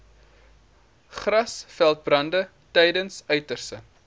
grasveldbrande tydens uiterste